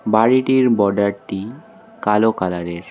বাড়িটির বর্ডারটি কালো কালারের।